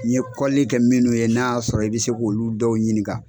N ye kɔlili kɛ minnu ye n'a y'a sɔrɔ i bɛ se k'olu dɔw ɲininka.